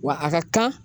Wa a ka kan